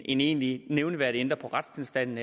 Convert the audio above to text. egentlig nævneværdigt ændrer på retstilstanden